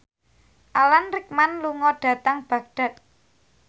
Alan Rickman lunga dhateng Baghdad